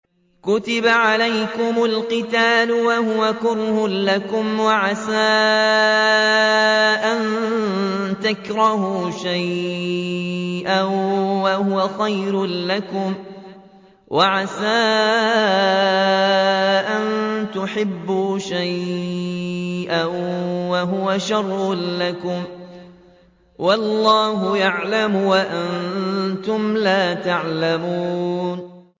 كُتِبَ عَلَيْكُمُ الْقِتَالُ وَهُوَ كُرْهٌ لَّكُمْ ۖ وَعَسَىٰ أَن تَكْرَهُوا شَيْئًا وَهُوَ خَيْرٌ لَّكُمْ ۖ وَعَسَىٰ أَن تُحِبُّوا شَيْئًا وَهُوَ شَرٌّ لَّكُمْ ۗ وَاللَّهُ يَعْلَمُ وَأَنتُمْ لَا تَعْلَمُونَ